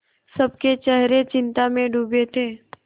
सबके चेहरे चिंता में डूबे थे